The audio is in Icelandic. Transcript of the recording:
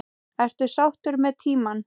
Ertu sáttur með tímann?